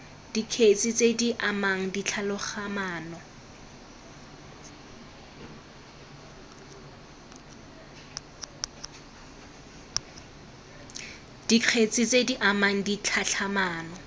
dikgetse tse di amang ditlhatlhamano